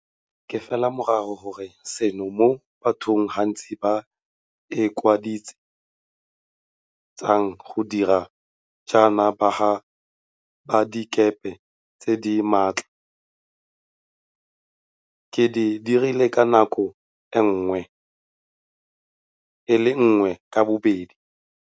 Ke fela morago ga seno moo batho gantsi ba ikwadise tsang go dira jaaka baga padikepe tse di maatla. Ke di dirile ka nako e le nngwe ka bobedi.